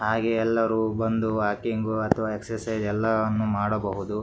ಹಾಗೆ ಎಲ್ಲರೂ ಬಂದು ವಾಕಿಂಗ್ ಅಥವಾ ಎಕ್ಸಾಸೈಸ್ ಎಲ್ಲವನ್ನು ಮಾಡಬಹುದು.